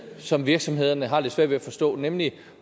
som virksomhederne har lidt svært ved at forstå nemlig